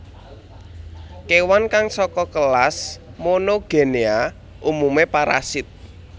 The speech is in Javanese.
Kewan kang saka kelas Monogenea umumé parasit